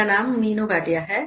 मेरा नाम मीनू भाटिया है